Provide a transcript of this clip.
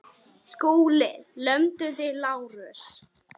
SKÚLI: Lömduð þið Lárus?